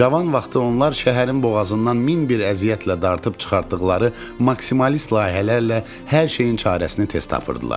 Cavan vaxtı onlar şəhərin boğazından min bir əziyyətlə dartıb çıxartdıqları maksimalist layihələrlə hər şeyin çarəsini tez tapırdılar.